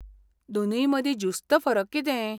दोनींय मदीं ज्युस्त फरक कितें?